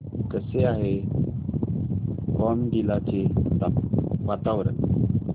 कसे आहे बॉमडिला चे वातावरण